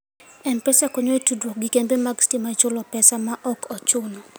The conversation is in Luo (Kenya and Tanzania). M-Pesa konyo e tudruok gi kembe mag stima e chulo pesa ma ok ochuno.